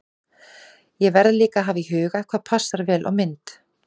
Ég verð líka að hafa í huga hvað passar vel á mynd.